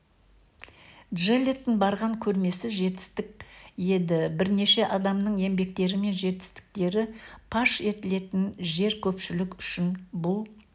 джеллеттің барған көрмесі жетістік еді бірнеше адамның еңбектері мен жетістіктері паш етілетін жер көпшілік үшін бұл